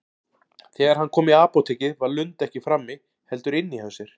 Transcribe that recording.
Þegar hann kom í apótekið var Lund ekki frammi, heldur inni hjá sér.